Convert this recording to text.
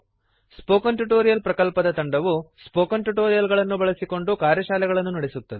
spoken tutorial ಪ್ರಕಲ್ಪದ ತಂಡವು spoken tutorials ಬಳಸಿಕೊಂಡು ಕಾರ್ಯಶಾಲೆಗಳನ್ನು ನಡೆಸುತ್ತದೆ